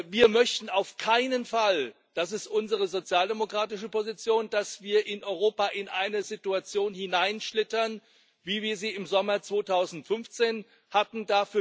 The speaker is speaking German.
Wir möchten auf keinen Fall das ist unsere sozialdemokratische Position dass wir in Europa in eine Situation hineinschlittern, wie wir sie im Sommer 2015 hatten.